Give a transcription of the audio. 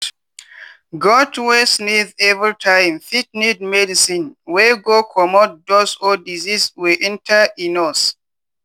goat wey sneeze everytime fit need medicine wey go comot dust or disease wey enter e nose.